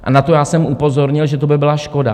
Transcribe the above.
A na to já jsem upozornil, že to by byla škoda.